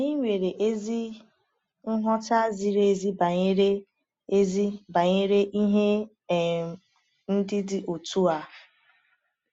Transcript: Anyị nwere ezi nghọta ziri ezi banyere ezi banyere ihe um ndị dị otu a.